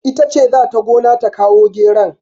Ita ce za ta gona ta kawo geron.